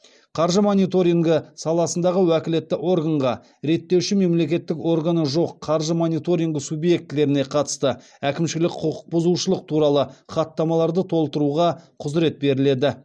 қаржы мониторингі саласындағы уәкілетті органға реттеуші мемлекеттік органы жоқ қаржы мониторингі субъектілеріне қатысты әкімшілік құқық бұзушылық туралы хаттамаларды толтыруға құзырет беріледі